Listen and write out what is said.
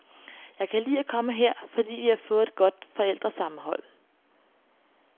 Jeg kan lide at komme her, fordi vi har fået et godt forældresammenhold.